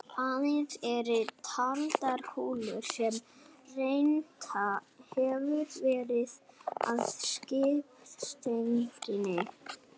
Aðeins eru taldar kúlurnar sem rennt hefur verið að skiptistönginni.